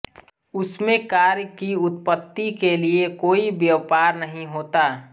उसमें कार्य की उत्पत्ति के लिए कोई व्यापार नहीं होता